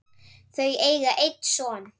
Þau eiga einn son.